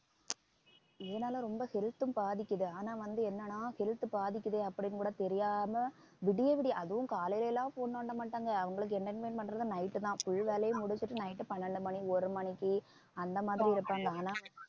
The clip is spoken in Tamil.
இதனால ரொம்ப health ம் பாதிக்குது ஆனா வந்து என்னன்னா health பாதிக்குதே அப்படின்னு கூட தெரியாம விடிய விடிய அதுவும் காலையில எல்லாம் phone நோண்டமாட்டாங்க அவங்களுக்கு entertainment பண்றது night தான் full வேலையை முடிச்சிட்டு night பன்னெண்டு மணி ஒரு மணிக்கு அந்த மாதிரி இருப்பாங்க ஆனா